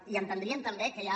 i entendríem també que ja